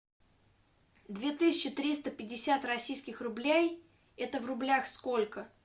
две тысячи триста пятьдесят российских рублей это в рублях сколько